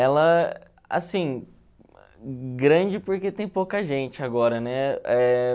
Ela, assim, grande porque tem pouca gente agora, né? Eh...